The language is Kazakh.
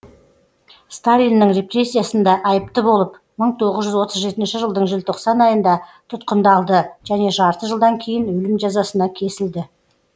сталиннің репрессиясында айыпты болып мың тоғыз жүз отыз жетінші жылдың желтоқсан айында тұтқындалды және жарты жылдан кейін өлім жазасына кесілді